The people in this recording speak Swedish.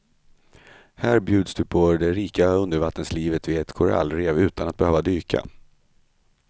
Här bjuds du på det rika undervattenslivet vid ett korallrev utan att behöva dyka.